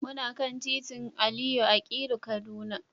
Muna kan titin Aliyu Akilu, Kaduna.